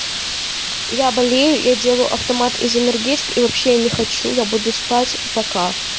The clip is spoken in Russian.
я болею я делаю автомат из энергетик и вообще я не хочу я буду спать пока